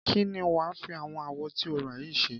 Kí ni wà á fi àwọn awọ tí o rà yìí ṣe?